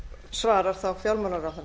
svarar þá fjármálaráðherra